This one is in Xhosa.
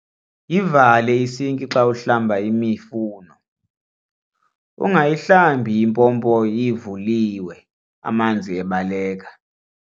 Yivale isinki xa uhlamba imifuno, ungayihlambi impompo ivulilwe amanzi ebaleka.